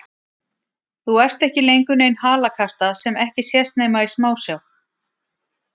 Þú ert ekki lengur nein halakarta sem ekki sést nema í smásjá.